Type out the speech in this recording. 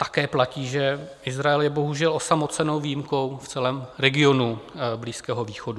Také platí, že Izrael je bohužel osamocenou výjimkou v celém regionu Blízkého východu.